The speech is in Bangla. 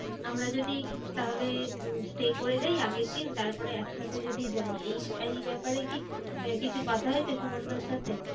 আমরা যদি তাহলে উম stay করে যাই আগের দিন, তারপরে একসাথে যদি যাই। এই এই ব্যাপারে কি কিছু কথা হয়েছে সুমানদার সাথে?